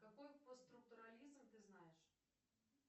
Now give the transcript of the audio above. какой постструктурализм ты знаешь